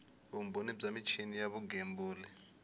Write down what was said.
vumbhoni bya michini ya vugembuli